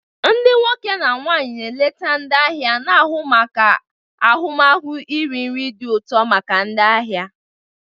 Ndị nwoke na nwanyi na eleta ndi ahia na ahu maka ahụmahụ iri nri dị ụtọ maka ndị ahịa.